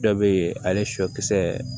Dɔ be yen ale sɔ kisɛ